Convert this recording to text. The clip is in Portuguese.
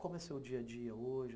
Como é o seu dia a dia hoje?